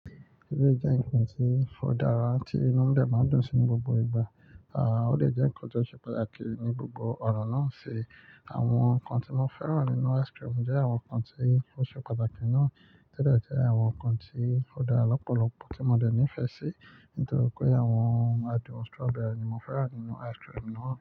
Eleyii jẹ́ nǹkan tí ó dára tí inú dẹ̀ máa dùn sí ní gbogbo ìgbà, ó dè jẹ́ nǹkan tó ṣe pàtàkì ní gbogbo ọ̀nà náà ṣe. Àwọn nǹkan tí mo fẹ́ràn nínú ice cream jẹ́ àwọn nǹkan tí ó ṣe pàtàkì náà, to de jẹ́ àwọn nǹkan tí ó dára lọ́pọ̀lọpọ̀ tí mo de ní ìfẹ́ sí. Nítorí pé àwọn adùn strawberry ni mo fẹ́ràn nínú ice cream náà.